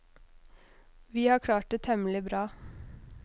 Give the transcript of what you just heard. Vi har klart det temmelig bra.